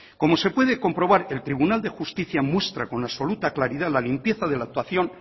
como se puede comprobar el tribunal de justicia muestra con absoluta claridad la limpieza de la actuación